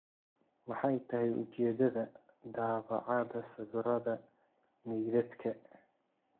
Maxay tahay ujeedada daabacaada sawirada meydadka?